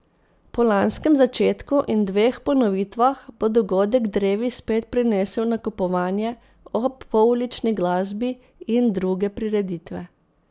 Po lanskem začetku in dveh ponovitvah bo dogodek drevi spet prinesel nakupovanje ob poulični glasbi in druge prireditve.